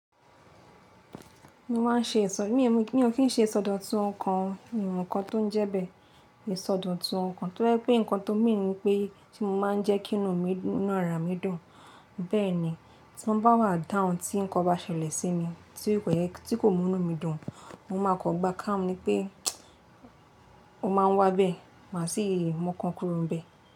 Mi ò kin ṣe ìsọdọ̀tun ọkàn, mi mo nnkan tó ń jẹ́ bẹ́ẹ̀. Ìsọdọ̀tun ọkàn tó jẹ́ pé nǹkan tó ń mì ní pé tí mo máa ń jẹ́ kí inú mi náà rà mí dùn. Bẹ́ẹ̀ni tí wọ́n bá wà down, tí nǹkan bá ṣẹlẹ̀ sí mi tí kò mú inú mi dùn mo máa kan gba kamu ni pé ó máa ń wá bẹ́ẹ̀, màá sì mọkàn kúrò n bẹ́ẹ̀